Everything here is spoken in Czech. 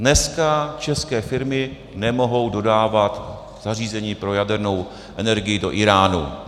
Dneska české firmy nemohou dodávat zařízení pro jadernou energii do Íránu.